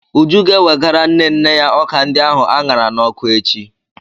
Uju ga-ewegara nne nne ya ọka ndi ahu aṅara n'ọkụ echi.